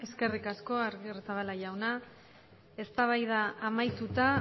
eskerrik asko agirrezabala jauna eztabaida amaituta